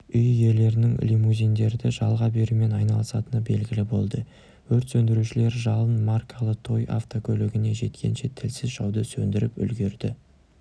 үй иелерінің лимузиндерді жалға берумен айналысатыны белгілі болды өрт сөндірушілер жалын маркалы той автокөлігіне жеткенше тілсіз жауды сөндіріп үлгерді